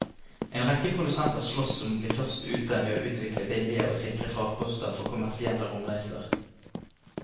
En rekke produsenter sloss om å bli først ute med å utvikle billige og sikre farkoster for kommersielle romreiser.